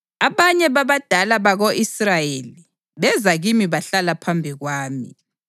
Abanye babadala bako-Israyeli beza kimi bahlala phambi kwami.